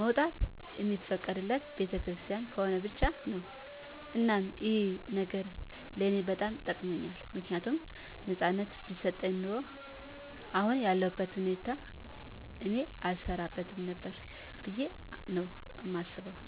መውጣት እሚፈቀድልን ቤተክርስቲያን ከሆነ ብቻ ነው። እናም ይህ ነገር ለኔ በጣም ጠቅሞኛል ምክንያቱም ነፃነት ቢሰጠኝ ኑሮ አሁን ያለሁት እኔን አልሰራትም ነበር ብዬ ነው ማስበው